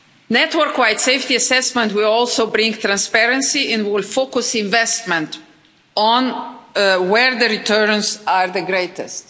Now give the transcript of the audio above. Network wide safety assessment will also bring transparency and will focus investment on where the returns are the greatest.